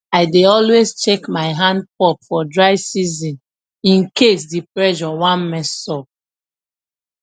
i dey always check my hand pump for dry season in case the pressure wan mess up